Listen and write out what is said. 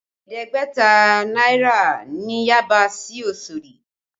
Ẹ̀ẹ́dẹ́gbẹ̀ta náírà ni Yaba sí Osodi